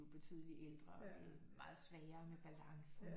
Betydeligt ældre og det er meget sværere med balancen